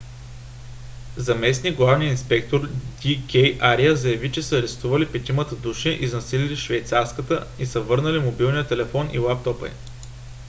заместник - главният инспектор д. к. ария заяви че са арестували петимата души изнасилили швейцарката и са върнали мобилния телефон и лаптопа ѝ